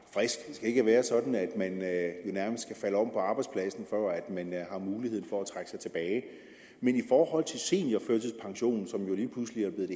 skal ikke være sådan at man nærmest skal falde om på arbejdspladsen for at man har mulighed for at trække sig tilbage i forhold til seniorførtidspension som lige pludselig er blevet